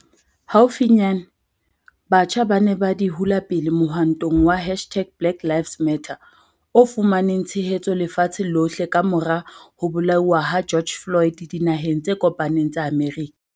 Haufinyane, batjha ba ne ba di hula pele mohwantong wa hashtag-BlackLivesMatter o fumaneng tshehetso lefatsheng lohle ka-mora ho bolauwa ha George Floyd Dinaheng tse Kopaneng tsa Amerika.